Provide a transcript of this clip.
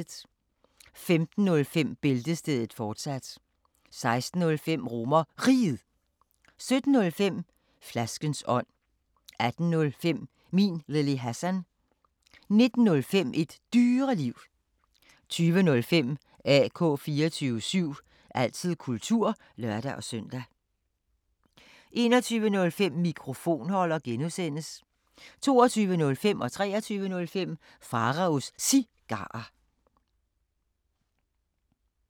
15:05: Bæltestedet, fortsat 16:05: RomerRiget 17:05: Flaskens ånd 18:05: Min Lille Hassan 19:05: Et Dyreliv 20:05: AK 24syv – altid kultur (lør-søn) 21:05: Mikrofonholder (G) 22:05: Pharaos Cigarer 23:05: Pharaos Cigarer